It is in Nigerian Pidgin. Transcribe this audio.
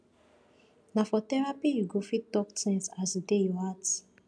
na for therapy you go fit talk tins as e dey your heart